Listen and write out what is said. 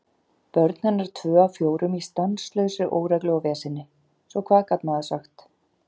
Börn hennar tvö af fjórum í stanslausri óreglu og veseni, svo hvað gat maður sagt?